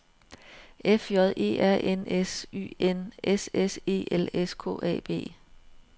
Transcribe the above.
F J E R N S Y N S S E L S K A B